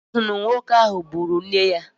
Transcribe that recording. A si na nwoke ahụ gburu nne ya.